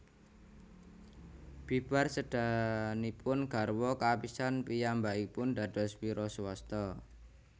Bibar sédanipun garwa kapisan piyambakipun dados wiraswasta